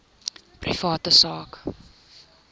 private sak